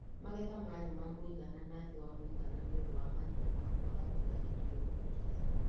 Magetha marĩ ma mũigana na thĩ wa mũigana nĩũndũ wa mathĩna ma kwaga mbura hindĩ ya ũkũria